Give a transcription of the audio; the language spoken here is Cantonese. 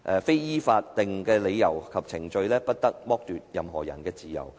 非依法定理由及程序，不得剝奪任何人之自由。